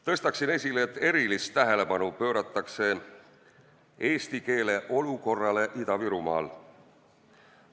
Tõstaksin esile selle, et erilist tähelepanu pööratakse eesti keele olukorrale Ida-Virumaal.